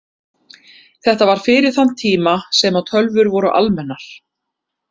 Þetta var fyrir þann tíma sem að tölvur voru almennar.